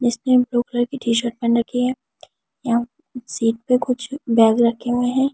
इसने blue colour की T shirt पहन रखी है यहां सीट पे कुछ बैग रखे हुए हैं ।